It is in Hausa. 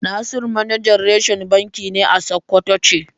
Nasiru manajar reshen banki ne a Sokoto ce.